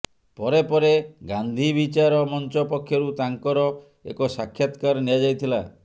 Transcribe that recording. ପରେ ପରେ ଗାନ୍ଧିବିଚାର ମଂଚ ପକ୍ଷରୁ ତାଙ୍କର ଏକ ସାକ୍ଷାତକାର ନିଆଯାଇଥିଲା